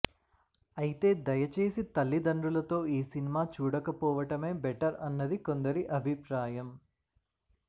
అయితే దయచేసి తల్లిదండ్రులతో ఈ సినిమా చూడకపోవడమే బెటర్ అన్నది కొందరి అభిప్రాయం